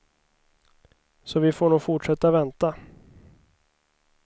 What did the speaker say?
Så vi får nog fortsätta vänta.